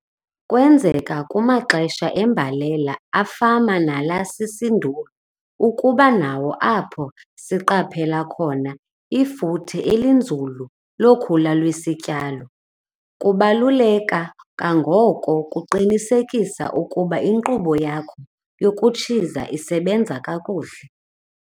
Kwenzeka kumaxesha embalela afama nala sisinduli ukuba nawo apho siqaphela khona ifuthe elinzulu lokhula lwesityalo. Kubaluleka kangako ukuqinisekisa ukuba inkqubo yakho yokutshiza isebenza kakuhle.